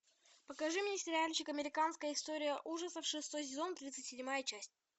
покажи мне сериальчик американская история ужасов шестой сезон тридцать седьмая часть